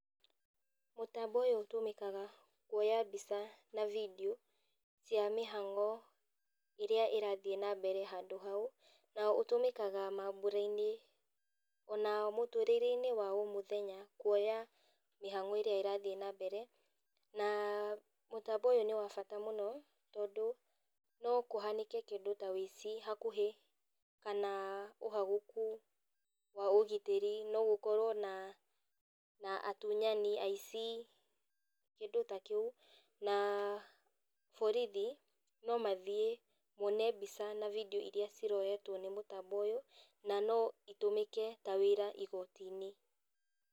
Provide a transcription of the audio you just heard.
Mũtambo ũyũ ũtũmĩkaga kuoya mbica na video cia mĩhang'o ĩrĩa ĩrathiĩ nambere handũ hau. Na ũtũmĩkaga mambũra-inĩ ona mũtũrĩre-inĩ wa o mũthenya kũoya mĩhang'o ĩrĩa ĩrathiĩ nambere. Na mũtambo ũyũ nĩ wabata mũno tondũ nokũhanĩke kĩndũ ta wũici hakuhĩ kana ũhagũku wa ũgitĩri, no gũkorwo na, na atunyani, aici, kĩndũ ta kĩu, na borithi nomathiĩ mone mbica na video iria ciroyetwo nĩ mũtambo ũyũ, na no itũmĩke ta wĩra igoti-inĩ.